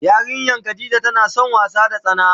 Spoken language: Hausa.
Yarinyan Khadijah tana son wasa da tsana.